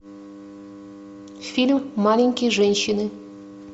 фильм маленькие женщины